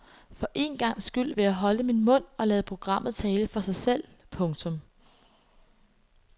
For en gangs skyld vil jeg holde min mund og lade programmet tale for sig selv. punktum